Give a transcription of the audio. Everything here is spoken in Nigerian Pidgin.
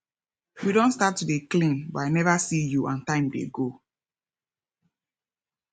we don start to dey clean but i never see you and time dey go